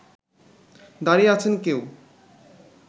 দাড়িয়ে আছেন কেউ